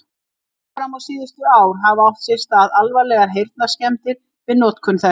Alveg fram á síðustu ár hafa átt sér stað alvarlegar heyrnarskemmdir við notkun þess.